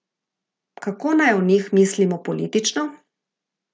Kako naj o njih mislimo politično?